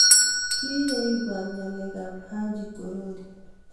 kii ye ibwaat ngalekab Haji korori.